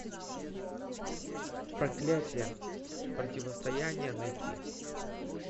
проклятие противостояние найти